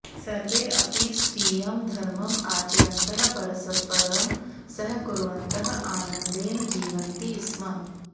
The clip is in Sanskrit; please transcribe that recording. सर्वे अपि स्वीयं धर्मम् आचरन्तः परस्परं सहकुर्वन्तः आनन्देन जीवन्ति स्म